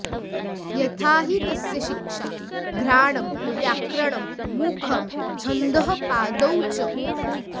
यथा हि तस्य शिक्षा घ्राणं व्याकरणं मुखं छन्दःपादौ च